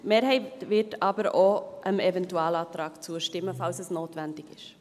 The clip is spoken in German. Die Mehrheit wird aber auch dem Eventualantrag zustimmen, falls es notwendig ist.